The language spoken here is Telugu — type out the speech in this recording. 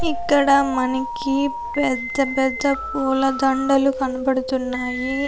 ఇక్కడ మనకి పెద్ద పెద్ద పూలదండలు కనబడుతున్నాయి.